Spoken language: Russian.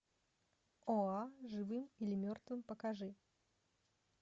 доа живым или мертвым покажи